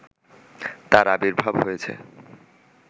তার আবির্ভাব হয়েছে